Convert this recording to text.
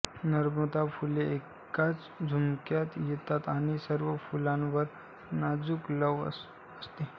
नरमादी फुले एकाच झुपक्यात येतात आणि सर्व फुलांवर नाजूक लव असते